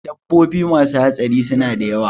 Dabbobi masu haɗari suna da yawa